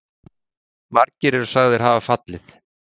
Margir eru sagðir hafa fallið.